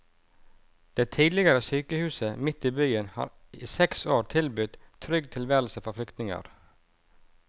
Det tidligere sykehuset midt i byen har i seks år tilbudt trygg tilværelse for flyktninger.